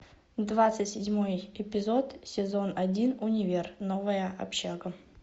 двадцать седьмой эпизод сезон один универ новая общага